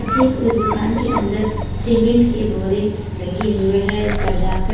ठीक उस दुकान के अंदर सीमेंट के बोरे रखे हुए हैं सजा कर--